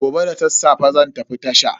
Gobe da sassafe zan tafi tasha.